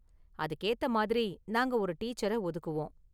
அதுக்கு ஏத்த​ மாதிரி நாங்க ஒரு டீச்சர ஒதுக்குவோம்.